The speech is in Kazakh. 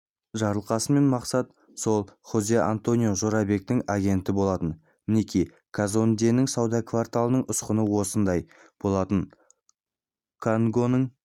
жарылқасын мен мақсат сол хозе-антонио жорабектің агенті болатын мінеки казонденің сауда кварталының ұсқыны осындай болатын конгоның